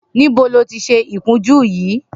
Nibó lóti ṣé ikùnjù yi?